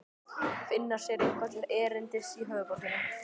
Finna sér eitthvað til erindis í höfuðborginni?